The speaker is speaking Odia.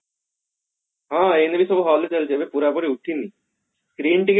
ହଁ ଏଇନା ବି ସବୁ hall ରେ ଚାଲୁଛି ପୁରାପୂରି ଉଠିନି film ଟିକେ